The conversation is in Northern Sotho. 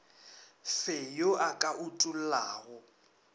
fe yo a ka utollago